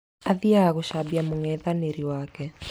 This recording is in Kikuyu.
Athiaga gũcambia mung'ethanĩri wake